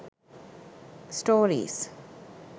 stories